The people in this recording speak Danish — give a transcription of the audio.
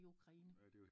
I Ukraine